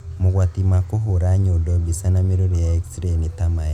Mogwati ma kũhũra nyondo mbica na mĩrũri ya x-ray nĩ ta maya